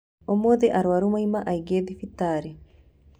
Umuthĩ arwaru mauma aingĩ thibitarĩ